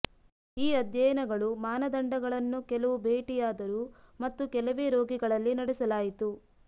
ಈ ಅಧ್ಯಯನಗಳು ಮಾನದಂಡಗಳನ್ನು ಕೆಲವು ಭೇಟಿಯಾದರು ಮತ್ತು ಕೆಲವೇ ರೋಗಿಗಳಲ್ಲಿ ನಡೆಸಲಾಯಿತು